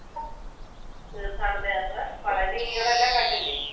തീർത്ഥാടന യാത്ര പളനി അവിടെല്ലാം കണ്ടില്ലേ?